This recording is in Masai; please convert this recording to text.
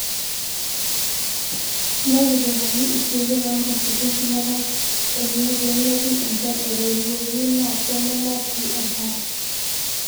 Netipikaki isiooten oo nkasukun shumata enye pee metum enchan aaitorioki naa peemenap sii enkare.